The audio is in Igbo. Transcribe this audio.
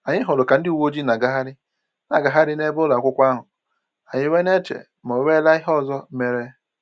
Anyị hụrụ ka ndị uwe ojii na-agagharị na-agagharị n'ebe ụlọakwụkwọ ahụ, anyị wee na-eche ma onwela ihe ọzọ mere